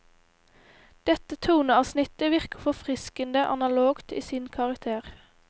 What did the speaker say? Dette toneavsnittet virker forfriskende analogt i sin karakter.